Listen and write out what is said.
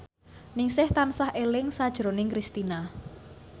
Ningsih tansah eling sakjroning Kristina